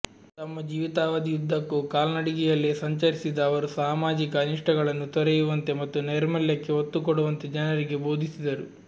ತಮ್ಮ ಜೀವಿತಾವಧಿಯುದ್ದಕ್ಕೂ ಕಾಲ್ನಡಿಗೆಯಲ್ಲೇ ಸಂಚರಿಸಿದ ಅವರು ಸಾಮಾಜಿಕ ಅನಿಷ್ಟಗಳನ್ನು ತೊರೆಯುವಂತೆ ಮತ್ತು ನೈರ್ಮಲ್ಯಕ್ಕೆ ಒತ್ತುಕೊಡುವಂತೆ ಜನರಿಗೆ ಬೋಧಿಸಿದರು